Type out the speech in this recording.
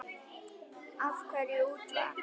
Af hverju útvarp?